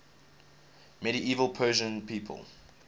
medieval persian people